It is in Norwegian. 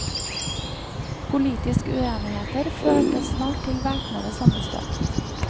Politisk uenigheter førte snart til væpnede sammenstøt.